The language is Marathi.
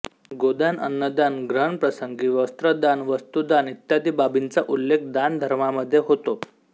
गोदानअन्नदान ग्रहणप्रसंगी वस्त्रदान वस्तुदान इत्यादी बाबींचा उल्लेख दानधर्मामध्ये होतो